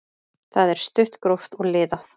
Það er stutt, gróft og liðað.